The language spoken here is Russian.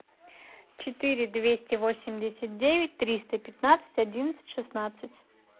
четыре двести восемьдесят девять триста пятнадцать одиннадцать шестнадцать